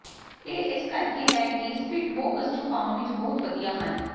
ਇਹ ਇਸ ਕਰਕੇ ਹੈ ਕਿ ਸਪਿਟਬੋਗਸ ਛੁਪਾਉਣ ਵਿਚ ਬਹੁਤ ਵਧੀਆ ਹਨ